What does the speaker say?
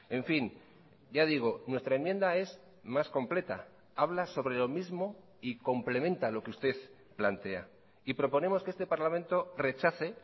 en fin ya digo nuestra enmienda es más completa habla sobre lo mismo y complementa lo que usted plantea y proponemos que este parlamento rechace